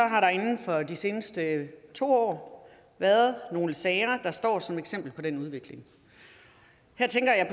har der inden for de seneste to år været nogle sager der står som eksempler på den udvikling her tænker jeg